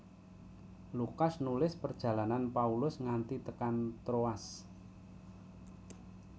Lukas nulis perjalanan Paulus nganti tekan Troas